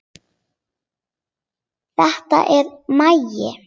Þetta er Maggi!